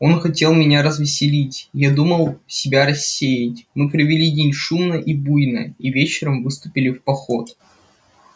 он хотел меня развеселить я думал себя рассеять мы провели день шумно и буйно и вечером выступили в поход